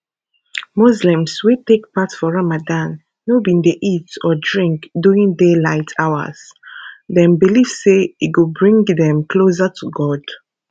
muslims wey take part for ramadan no bin dey eat or drink during daylight hours dem believe say e go bring dem closer to god